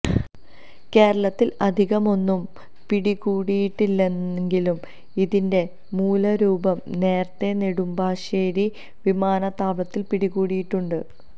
കേരളത്തിൽ അധികമൊന്നും പിടികൂടിയിട്ടില്ലെങ്കിലും ഇതിന്റെ മൂലരൂപം നേരത്തെ നെടുമ്പാശേരി വിമാനത്താവളത്തിൽ പിടികൂടിയിട്ടുണ്ട്